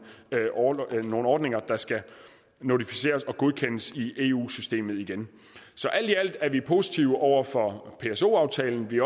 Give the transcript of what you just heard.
ordninger nogle ordninger der skal notificeres og godkendes i eu systemet igen så alt i alt er vi positive over for pso aftalen vi